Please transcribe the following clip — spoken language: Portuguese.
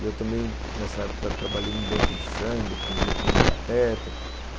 E eu também, nessa época, trabalhei num banco de sangue, aprendi a pôr um catéter.